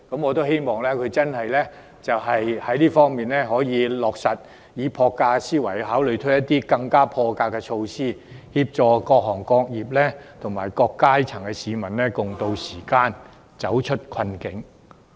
我希望他可以落實這些建議，並以破格思維推出破格措施，協助各行各業及各階層市民共渡時艱，走出困境。